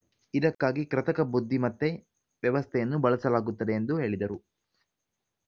ಇದಕ್ಕಾಗಿ ಕೃತಕ ಬುದ್ಧಿಮತ್ತೆ ವ್ಯವಸ್ಥೆಯನ್ನು ಬಳಸಲಾಗುತ್ತದೆ ಎಂದು ಹೇಳಿದರು